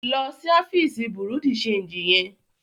Lọ sí ọfíìsì bùrúdì ṣeègì yẹn.